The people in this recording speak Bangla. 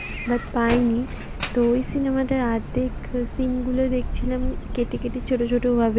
But পাইনি। তো ওই cinema টা অর্ধেক scene গুলো দেখছিলাম কেটে কেটে ছোটো ছোটো ভাবে,